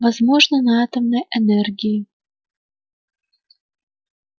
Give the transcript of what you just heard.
возможно на атомной энергии